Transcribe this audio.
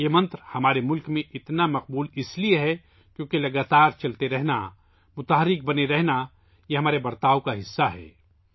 یہ منتر ہمارے ملک میں بہت مقبول اس لئے ہے، کیونکہ مسلسل چلتے رہنا، متحرک بنے رہنا ہماری فطرت کا حصہ ہے